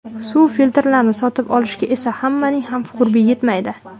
Suv filtrlarini sotib olishga esa hammaning ham qurbi yetmaydi.